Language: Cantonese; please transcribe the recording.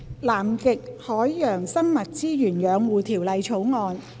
《南極海洋生物資源養護條例草案》。